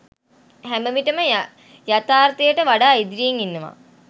හැමවිටම යථාර්තයට වඩා ඉදිරියෙන් ඉන්නවා.